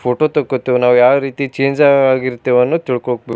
photo ತಕ್ಕೊತೀವಿ ನಾವು ಯಾವ ರೀತಿ ಚೇಂಜ್ ಆ ಆಗಿರ್ತಿವಿ ಅನ್ನುದ್ ತಿಳ್ಕೋಬೆ --